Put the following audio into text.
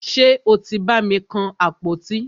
Ṣe o tí bàmi kan àpótí?